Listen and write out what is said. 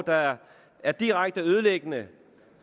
der er er direkte ødelæggende